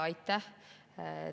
Aitäh!